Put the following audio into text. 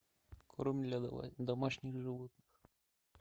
корм для домашних животных